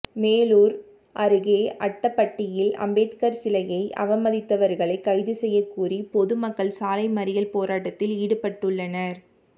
மேலூர் அருகே அட்டப்பட்டியில் அம்பேத்கர் சிலையை அவமதித்தவர்களை கைது செய்ய கோரி பொதுமக்கள் சாலைமறியல் போராட்டத்தில் ஈடுபட்டுள்ளனர்